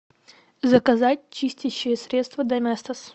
заказать чистящее средство доместос